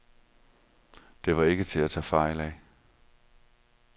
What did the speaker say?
Det var ikke til at tage fejl af.